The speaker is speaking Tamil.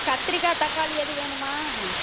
கத்திரிக்காய் தக்காளி எதுவும் வேணுமா